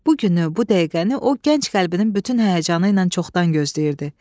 Bu günü, bu dəqiqəni o gənc qəlbinin bütün həyəcanı ilə çoxdan gözləyirdi.